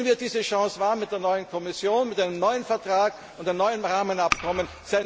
Nehmen wir diese Chance wahr, mit der neuen Kommission, mit einem neuen Vertrag und einem neuen Rahmenabkommen!